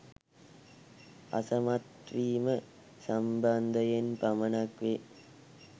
අසමත් වීම සම්බන්ධයෙන් පමණක් වේ